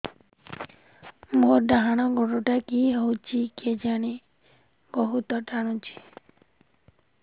ମୋର୍ ଡାହାଣ୍ ଗୋଡ଼ଟା କି ହଉଚି କେଜାଣେ ବହୁତ୍ ଟାଣୁଛି